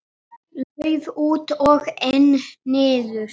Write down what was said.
Lauf út og einn niður.